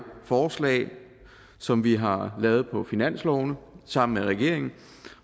forslag som vi har lavet på finansloven sammen med regeringen